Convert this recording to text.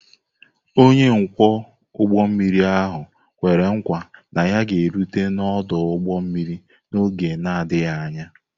Onye ọkwọ ụgbọ mmiri ahụ kwere nkwa na ya ga-erute n'ọdụ ụgbọ mmiri n'oge na-adịghị anya.